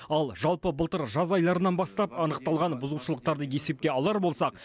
ал жалпы былтыр жаз айларынан бастап анықталған бұзушылықтарды есепке алар болсақ